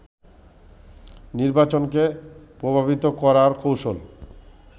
নির্বাচনকে প্রভাবিত করার কৌশল